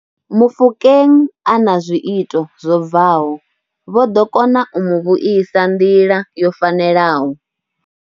Mofokeng a na zwi ito zwo bvaho, vho ḓo kona u mu vhuisa nḓila yo fanelaho.